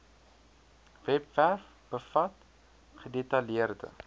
webwerf bevat gedetailleerde